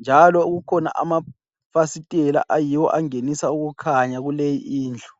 njalo kukhona amafasiteli ayiwo angenisa ukukhanya kuleyi Indlu.